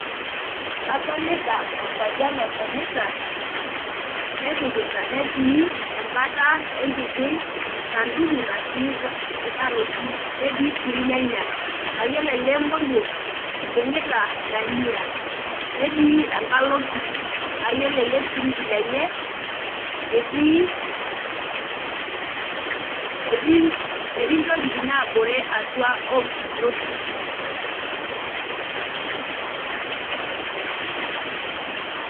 Adolita orpayian otonita nepikita , netii embata enkiti sanduku natii nkaroti netii sii irnyanya, mayiolo ele moruoa oibungita dania, netii enkalo orfridge , naa yiolo elefridge lenye etii , etii, etii ntokitin nabore atua ompukunot kumok.